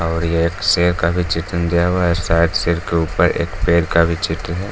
और ये एक शेर का भी चित्र दिया हुआ है। साइड शेर के ऊपर एक पेड़ का भी चित्र है।